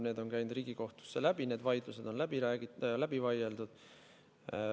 See on käinud Riigikohtust läbi, need vaidlused on läbi vaieldud.